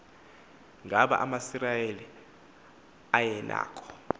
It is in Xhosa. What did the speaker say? ngaba amasirayeli ayenako